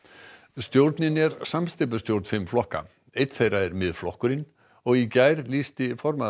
stjórnin er samsteypustjórn fimm flokka einn þeirra er Miðflokkurinn og í gær lýsti formaður